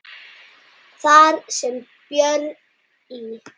Þar sem Björn í